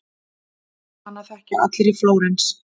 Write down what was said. Hana þekkja allir í Flórens.